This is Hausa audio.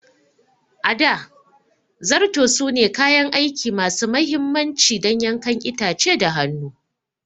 A da, Zarto sune kayan aiki masu mahimmanci don yankan itace da hannu.